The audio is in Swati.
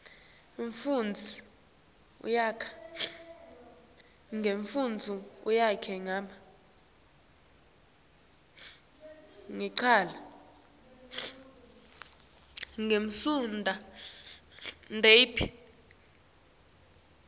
umfundzi uyakwati kufundza